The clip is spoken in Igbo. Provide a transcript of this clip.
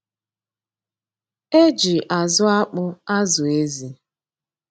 E ji azụ́ akpụ azụ̀ ézi.